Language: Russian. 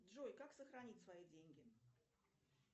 джой как сохранить свои деньги